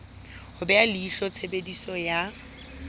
ho beha leihlo tshebediso ya